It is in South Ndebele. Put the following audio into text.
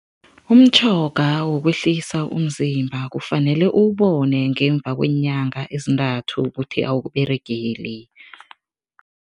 Umtjhoga wokwehlisa umzimba kufanele uwubone ngemva kweenyanga ezintathu ukuthi awukUberegeli.